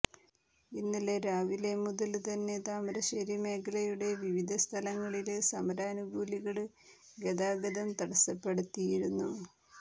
ഇന്നലെ രാവിലെമുതല്ത്തന്നെ താമരശ്ശേരി മേഖലയുടെ വിവിധ സ്ഥലങ്ങളില് സമരാനുകൂലികള് ഗതാഗതം തടസപ്പെടുത്തയിരുന്നു